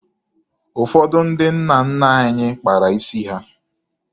Ụfọdụ ndị nna nna anyị kpara isi ha.